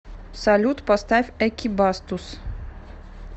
салют поставь экибастуз